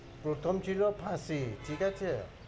প্রথম ছিল ফাঁসি ঠিক আছে?